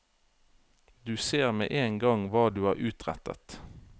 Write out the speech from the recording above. Du ser med en gang hva du har utrettet.